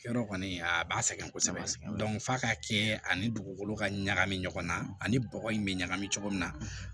Yɔrɔ kɔni a b'a sɛgɛn kosɛbɛ f'a ka kɛ ani dugukolo ka ɲagami ɲɔgɔn na ani bɔgɔ in bɛ ɲagami cogo min na